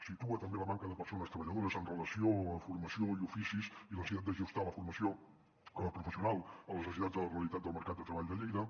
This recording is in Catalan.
situa també la manca de persones treballadores amb relació a formació i oficis i la necessitat d’ajustar la formació professional a les necessitats de la realitat del mercat de treball de lleida